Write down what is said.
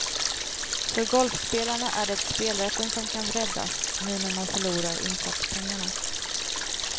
För golfspelarna är det spelrätten som kan räddas, nu när man förlorar insatspengarna.